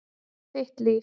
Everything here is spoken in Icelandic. Þitt líf.